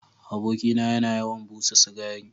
Abokina yana yawan busa cigari.